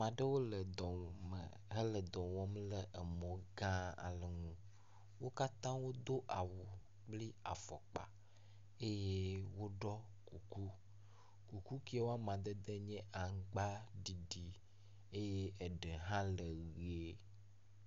Aɖewo le dɔ me hele dɔ wɔm le mɔ gã aɖe ŋu. Wo katã wodo awu kple afɔkpa eye woɖɔ kuku. Kuku ke wo amadede nye aŋgbaɖiɖi eye eɖe hã le ʋi.